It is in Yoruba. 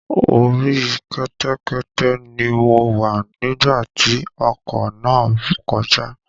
Orí Kẹ̀kẹ́ ni mo wá nígbà tí ọkọ̀ náà kọjá